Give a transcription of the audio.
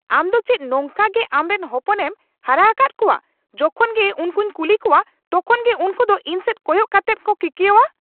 ᱟᱢ ᱫᱚ ᱪᱮᱫ ᱱᱚᱝᱠᱟᱜᱮ ᱟᱢᱨᱮᱱ ᱦᱚᱯᱚᱱᱮᱢ ᱦᱟᱨᱟᱣᱟᱠᱟᱫ ᱠᱚᱣᱟ ? ᱡᱚᱠᱷᱚᱱ ᱜᱮ ᱩᱝᱠᱩᱧ ᱠᱩᱞᱤ ᱠᱚᱣᱟ ᱛᱚᱠᱷᱚᱱ ᱜᱮ ᱩᱝᱠᱩ ᱫᱚ ᱤᱧ ᱥᱮᱡ ᱠᱚᱭᱚᱜ ᱠᱟᱛᱮᱫ ᱠᱚ ᱠᱤᱠᱭᱟᱹᱣᱟ ᱾